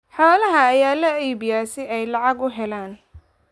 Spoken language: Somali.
Xoolaha ayaa la iibiyaa si ay lacag u helaan.